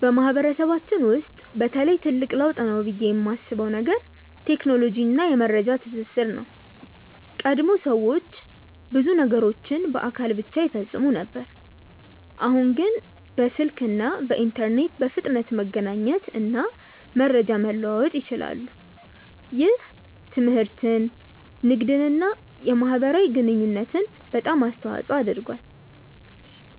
በማህበረሰባችን ውስጥ በተለይ ትልቅ ለውጥ ነው ብዬ የማስበው ነገር ቴክኖሎጂ እና የመረጃ ትስስር ነው። ቀድሞ ሰዎች ብዙ ነገሮችን በአካል ብቻ ይፈጽሙ ነበር፣ አሁን ግን በስልክ እና በኢንተርኔት በፍጥነት መገናኘት እና መረጃ መለዋወጥ ይችላሉ። ይህ ትምህርትን፣ ንግድን እና የማህበራዊ ግንኙነትን በጣም አስተዋፅኦ አድርጓል።